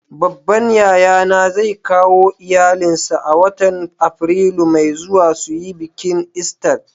Babban yaya na zai kawo iyallin sa a'watan Afrilu mai zuwa su yi biki lsta.